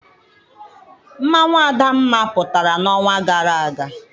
Mmanwụ adamma pụtara n'ọnwa gara aga.